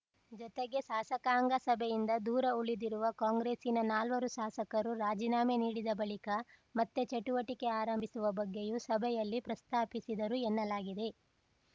ಜೊತೆಗೆ ಶಾಸಕಾಂಗ ಸಭೆಯಿಂದ ದೂರ ಉಳಿದಿರುವ ಕಾಂಗ್ರೆಸ್ಸಿನ ನಾಲ್ವರು ಶಾಸಕರು ರಾಜೀನಾಮೆ ನೀಡಿದ ಬಳಿಕ ಮತ್ತೆ ಚಟುವಟಿಕೆ ಆರಂಭಿಸುವ ಬಗ್ಗೆಯೂ ಸಭೆಯಲ್ಲಿ ಪ್ರಸ್ತಾಪಿಸಿದರು ಎನ್ನಲಾಗಿದೆ